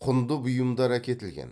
құнды бұйымдар әкетілген